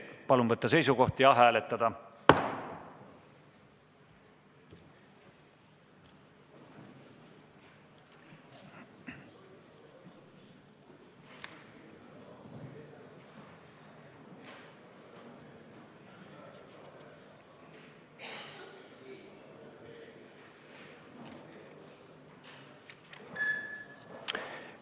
Palun võtta seisukoht ja hääletada!